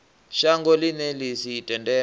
shango ḽine ḽi sa tendele